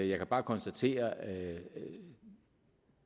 jeg kan bare konstatere at der